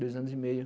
Dois anos e meio.